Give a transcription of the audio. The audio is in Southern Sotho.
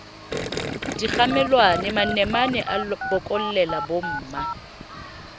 dikgamelwana manamane a bokollela bomma